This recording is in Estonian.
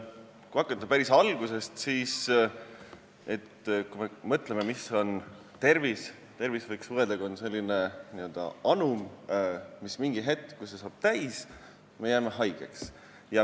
Kui hakata päris algusest ja mõelda, mis on tervis, siis see võiks olla selline anum, mis mingil hetkel saab täis, st me jääme haigeks.